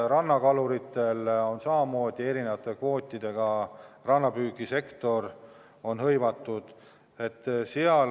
Rannakaluritel on samamoodi, rannapüügisektoris on ka erinevad kvoodid.